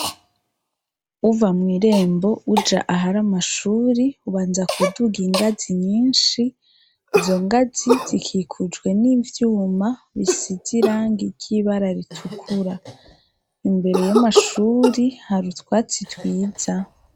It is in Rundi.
Uva mw' irembo uja ahari amashuri, ubanza kuduga ingazi nyinshi. Izo ngazi zikikujwe n'ivyuma bisize irangi ry'ibara ritukura. Imbere y'amashuri hari utwatsi twiza.